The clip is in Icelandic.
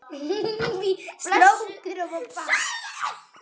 Blessuð verði minning hans.